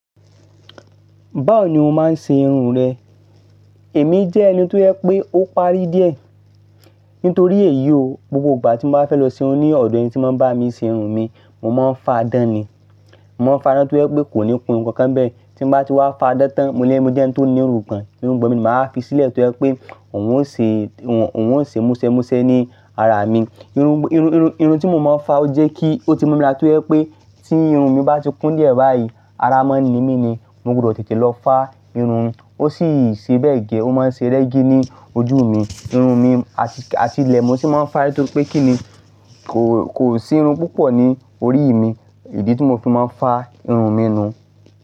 Báwo ni o máa ń ṣe irun rẹ? Èmi jẹ́ ẹni tó yẹ pé ó parí díẹ̀ nítorí èyí o, gbogbo ìgbà tí mo bá fẹ́ lọ ṣe irun ní ọ̀dọ̀ ẹni tí máa ń bá mi ṣe irun mi, mo máa ń fa adán ni. Mo máa ń fa adán tó yẹ pé kò ní kun nǹkan bẹ́ẹ̀. Tí mo bá ti wá fa adán tán, mo lẹ́ mo jẹ́ ẹni tó ní irungbọn. Irungbọn mi, màá fi sílẹ̀ tó yẹ pé òun ó ṣe, òun ó ṣe mú ṣẹ mú ṣẹ ní ara mi. Irun, irun, irun, irun tí mo máa ń fa ó jẹ́ kí ó ti mo mi láti yẹ pé tí irun mi bá ti kún díẹ̀ báyìí, ara máa ń ni mí ni. Mo gbudọ̀ tètè lọ fa irun. Ó sì ṣe bẹ́ẹ̀ gẹ́, ó máa ń ṣe rẹ́gí ní ojú mi. Irun mi, àti, àti ilẹ̀ mo sì máa ń fa ẹ́ nítorí pé kí ni kò, kò sí irun púpọ̀ ní orí ì mi. Idí tí mo fi máa ń fa irun mi nù.